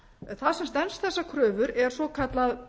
það sem stenst þessar kröfur er svokallað